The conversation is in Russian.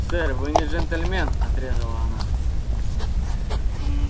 сэр вы не джентльмен отрезала она